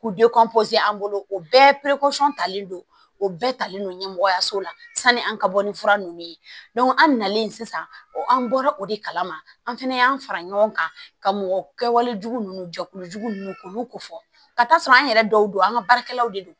K'u an bolo o bɛɛ talen don o bɛɛ talen don ɲɛmɔgɔya so la sanni an ka bɔ ni fura nunnu ye an nalen sisan an bɔra o de kalama an fɛnɛ y'an fara ɲɔgɔn kan ka mɔgɔ kɛwale jugu nunnu jɛkulu jugu k'olu kofɔ ka taa sɔrɔ an yɛrɛ dɔw don an ka baarakɛlaw de don